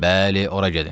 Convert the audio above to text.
Bəli, ora gedin.